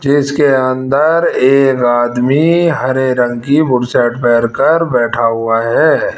जिसके अंदर एक आदमी हरे रंग की बुरशेट पहन कर बैठा हुआ है।